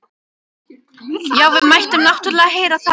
Já, við máttum náttúrlega heyra það.